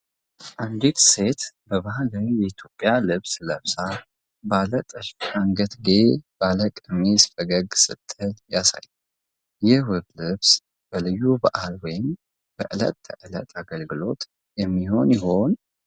አንዲት ሴት በባህላዊ የኢትዮጵያ ልብስ ለብሳ፣ ባለ ጥልፍ አንገትጌ ባለው ቀሚስ ፈገግ ስትል ያሳያል። ይህ ውብ ልብስ ለልዩ በዓል ወይም ለዕለት ተዕለት አገልግሎት የሚሆን ይሆን?